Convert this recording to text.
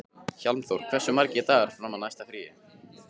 Hjálmþór, hversu margir dagar fram að næsta fríi?